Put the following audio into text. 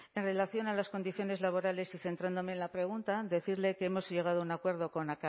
en relación a las condiciones laborales y centrándome en la pregunta decirle que hemos llegado a un acuerdo con